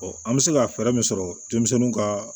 an bɛ se ka fɛɛrɛ min sɔrɔ denmisɛnninw ka